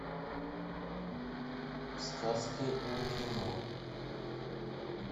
сказки о кино